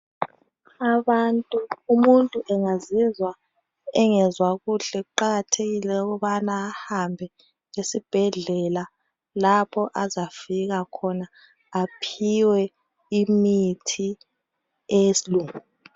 Abantu umuntu angazizwa engezwa kuhle khqakathekile ukubana ahambe esibhedlela lapho azafika khona aphiwe imithi eyesilungu.